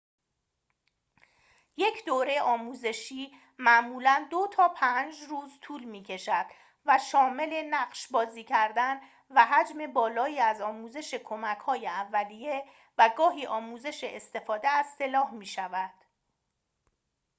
یک دوره آموزشی معمولاً ۲ تا ۵ روز طول می‌کشد و شامل نقش بازی کردن و حجم بالایی از آموزش کمک‌های اولیه و گاهی آموزش استفاده از سلاح می‌شود